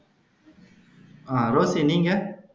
அஹ் Rosy நீங்க